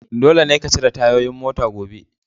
Dole ne ka cire tayoyin mota gobe!